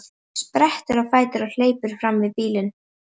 Sprettur á fætur og hleypur fram fyrir bílinn.